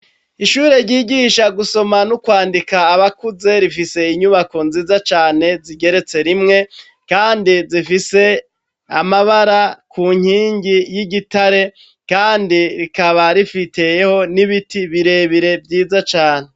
Ishure ryigisha gusoma n'ukwandika abakuze rifise inyubako nziza cane zigeretse rimwe kandi zifise amabara ku nkingi y'igitare kandi rikaba rifiseyeho n'ibiti birebire vyiza cane.